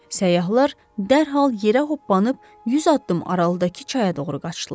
Səyyahlar dərhal yerə hoppanıb 100 addım aralıdakı çaya doğru qaçdılar.